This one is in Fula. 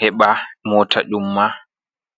heba mota umma.